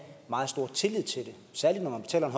meget stor tillid til det særlig når man betaler